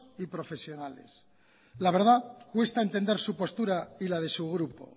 y profesionales la verdad cuesta entender su postura y la de su grupo